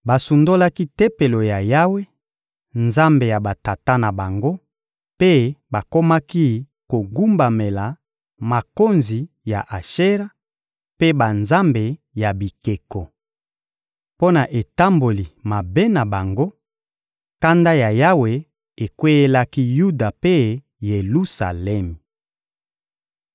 Basundolaki Tempelo ya Yawe, Nzambe ya batata na bango, mpe bakomaki kogumbamela makonzi ya Ashera mpe banzambe ya bikeko. Mpo na etamboli mabe na bango, kanda ya Yawe ekweyelaki Yuda mpe Yelusalemi.